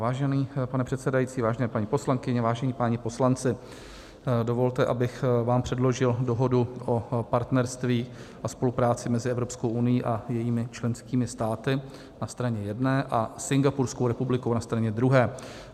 Vážený pane předsedající, vážené paní poslankyně, vážení páni poslanci, dovolte, abych vám předložil Dohodu o partnerství a spolupráci mezi Evropskou unií a jejími členskými státy na straně jedné a Singapurskou republikou na straně druhé.